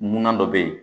Munna dɔ bɛ yen